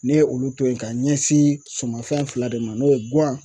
Ne ye olu to ye ka ɲɛsin sumafɛn fila de ma n'o ye guwan